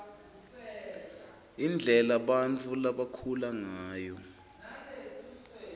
indlela bantfu labakhula ngayo